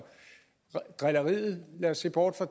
lad os se bort fra